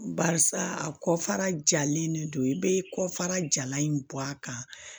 Barisa a kɔfara jalen de don i be kɔfara jalan in bɔ a kan